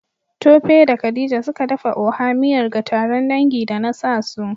Tope da Khadija, suka dafa Oha miyar ga taron dangi. da nasa su